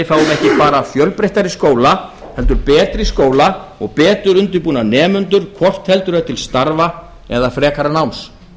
ekki bara fjölbreyttari skóla heldur betri skóla og betur undirbúna nemendur hvort heldur er til starfa eða frekara náms